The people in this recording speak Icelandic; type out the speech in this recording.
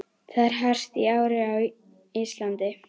Það er hart í ári á Íslandi.